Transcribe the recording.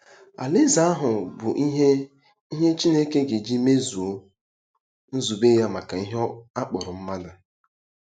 Alaeze ahụ bụ ihe ihe Chineke ga-eji mezuo nzube ya maka ihe a kpọrọ mmadụ.